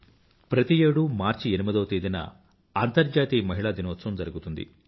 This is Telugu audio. ప్రతి ఏడూ మార్చి ఎనిమిదవ తేదీన అంతర్జాతీయ మహిళా దినోత్సవం జరుగుతుంది